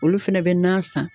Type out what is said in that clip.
Olu fɛnɛ bɛ na san.